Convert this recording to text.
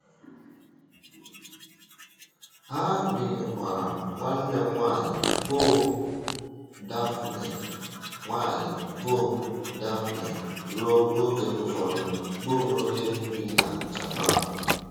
Ha bìnyèkwàrà nwanne m nwanyị bụ́ Dáphné nwanyị bụ́ Dáphné ruo oge ụfọdụ, bụ́ onye bi na Japan.